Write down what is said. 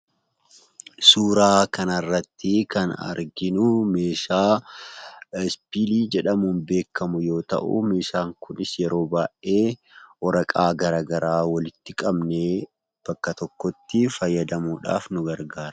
Suuraa kana irratti kan arginuu meeshaa ispiilii jedhamuun beekamu yoo ta'u, meeshaan kunis yeroo baay'ee waraqaa garaagaraa walitti qabnee bakka tokkotti fayyadamuudhaaf nu gargaara.